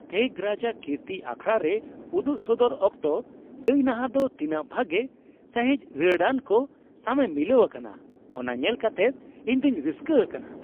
ᱛᱷᱮᱜᱨᱟᱡᱟ ᱠᱨᱤᱛᱤ ᱟᱠᱷᱟᱲᱟ ᱨᱮ ᱩᱫᱩᱜ ᱥᱚᱫᱚᱨ ᱚᱠᱛᱚ ᱜᱟᱭᱱᱟᱦᱟ ᱫᱚ ᱛᱤᱱᱟᱹᱜ ᱵᱷᱟᱜᱮ ᱥᱟᱹᱦᱤᱡ ᱨᱟᱹᱲᱟᱱᱠᱚ ᱥᱟᱣᱮ ᱢᱤᱞᱟᱹᱣ ᱟᱠᱟᱱᱟ ᱚᱱᱟ ᱧᱮᱞ ᱠᱟᱛᱮᱫ ᱤᱧ ᱫᱚᱧ ᱨᱟᱹᱥᱠᱟᱹ ᱟᱠᱟᱱᱟ ᱾